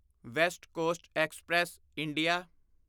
West Coast Express India